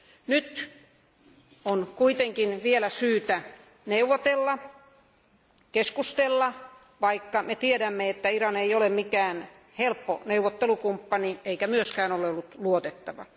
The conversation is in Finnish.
Nyt on kuitenkin vielä syytä neuvotella ja keskustella, vaikka me tiedämme, että Iran ei ole mikään helppo neuvottelukumppani eikä myöskään ole ollut luotettava.